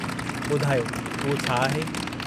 ॿुधायो, उहो छा आहे?